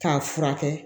K'a furakɛ